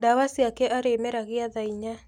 Ndawa ciake arĩ meragia thaa inya.